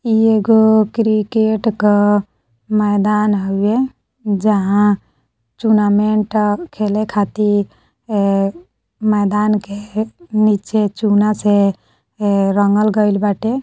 ई एगो क्रिकेट का मैदान हवे जहा टूर्नामेंट आ खेला खातिर ए मैदान के नीचे चुना से ए रंगल गइल बाटे।